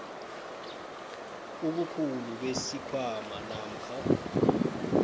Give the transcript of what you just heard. ubukhulu besikhwama namkha